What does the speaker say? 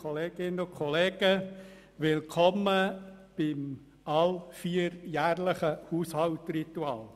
Willkommen beim allvierjährlichen Haushaltsritual!